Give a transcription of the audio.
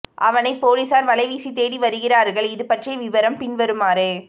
அவனை பொலிஸார் வலைவீசி தேடிவருகிறார்கள் இது பற்றிய விபரம் பின் வருமாறு